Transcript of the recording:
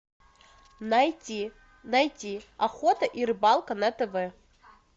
найти найти охота и рыбалка на тв